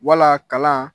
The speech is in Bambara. Wala kalan